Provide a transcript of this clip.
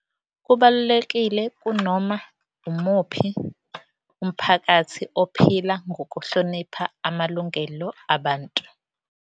Kubalulekile kunoma umuphi umphakathi ophila ngokuhlonipha amalungelo abantu.